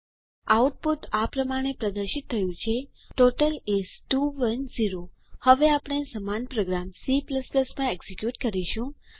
output આ પ્રમાણે પ્રદર્શિત થયું છે160 ટોટલ ઇસ 210 હવે આપણે સમાન પ્રોગ્રામ C માં એકઝીક્યુટ કરીશું